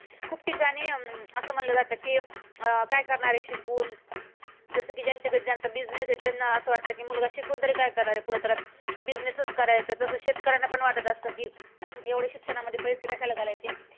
खूप ठिकाणी अं अस म्हणलं जातं कि काय करणार आहे शिकून जसं की ज्यांच्याकडे ज्यांचा business आहे. त्यांना असं वाटत कि मुलगा शिकून तरी काय करणार आहे. पुढे त्याला business च करायचा आहे. तसे शेतकऱ्यांना पण असं वाटतं अं कि एवढे शिक्षणामध्ये पैसे कशाला घालायचे.